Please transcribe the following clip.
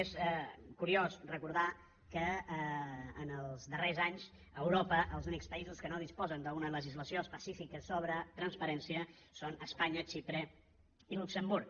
és curiós recordar que en els darrers anys a europa els únics països que no disposen d’una legislació específica sobre transparència són espanya xipre i luxemburg